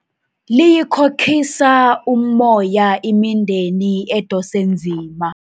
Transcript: liyikhokhisa ummoya imindeni edose nzima